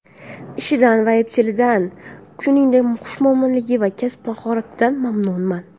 Ishidan va epchilligidan, shuningdek, xushmuomalaligi va kasb mahoratidan mamnunman!